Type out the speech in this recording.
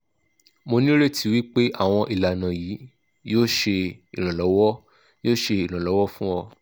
mo nireti wipe awon ilana yi yo se iranlowo yo se iranlowo fun o